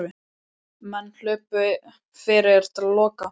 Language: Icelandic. Menn hlupu fyrir til að loka.